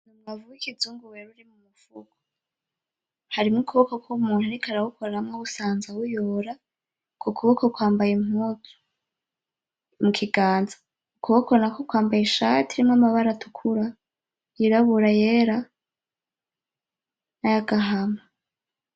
Umwavu wikizungu wera uri mumufuko urimwo ukuboko kwumuntu ariko arawukoramwo awusanza awuyora ukwo kuboko kwambaye impuzu mukiganza ukuboko nakwo kwambaye ishati irimwo amabara atukura yirabura ayera nayagahama